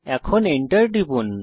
এখন Enter টিপুন